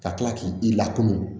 Ka tila k'i i lakunu